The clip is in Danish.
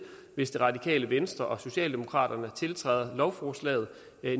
hvis radikale venstre og socialdemokratiet tiltræder lovforslaget